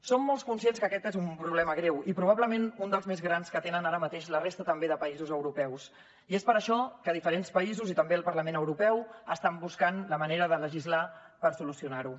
som molt conscients que aquest és un problema greu i probablement un dels més grans que tenen ara mateix la resta també de països europeus i és per això que diferents països i també el parlament europeu estan buscant la manera de legislar per solucionar ho